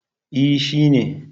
E, shi ne